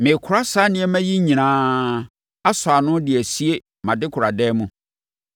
“Merekora saa nneɛma yi nyinaa, asɔ ano de asie mʼadekoradan mu.